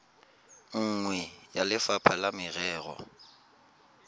nngwe ya lefapha la merero